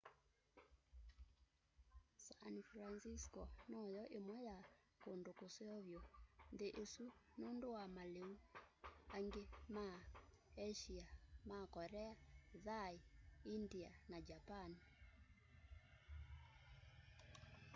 san francisco no yo imwe ya kundu kuseo vyu nthini isu nundu wa maliu angi ma asia ma korea thai india na japan